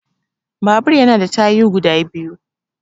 Babur ya na da tayu guda biyu